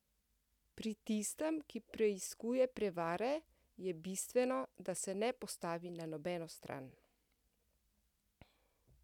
Pri tistem, ki preiskuje prevare, je bistveno, da se ne postavi na nobeno stran.